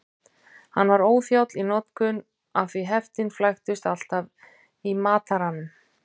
Hann var óþjáll í notkun af því heftin flæktust alltaf í mataranum.